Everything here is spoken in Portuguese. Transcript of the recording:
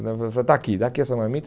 Me dá aqui dá aqui essa marmita.